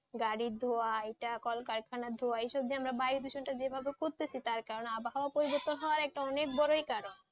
গাড়ি ধুয়া এটা কলকারখানা ধুয়া এইসব যেন বায়ু দূষণ যে ভাবে করতেছি তার কারণ আবার আবহাওয়া পরিবতন হয়ে অনেক বড়ো কারণ